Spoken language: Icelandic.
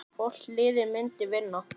Hvort liðið myndi vinna?